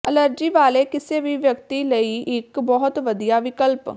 allergy ਵਾਲੇ ਕਿਸੇ ਵੀ ਵਿਅਕਤੀ ਲਈ ਇੱਕ ਬਹੁਤ ਵਧੀਆ ਵਿਕਲਪ